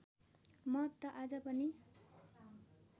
महत्त्व आज पनि